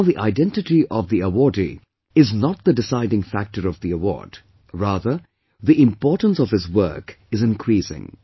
Now the identity of the awardee is not the deciding factor of the award, rather the importance of his work is increasing